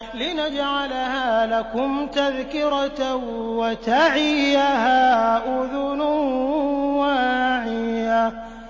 لِنَجْعَلَهَا لَكُمْ تَذْكِرَةً وَتَعِيَهَا أُذُنٌ وَاعِيَةٌ